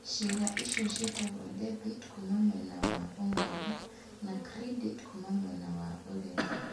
Ciĩga icio ciĩtagwo debiti (kuuma mwena wa ũmotho) na credit (kuuma mwena wa ũrĩo).